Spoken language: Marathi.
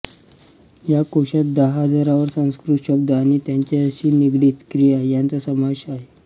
या कोशात दहा हजारांवर संस्कृत शब्द आणि त्यांच्याशी निगडित क्रिया यांचा समावेश आहे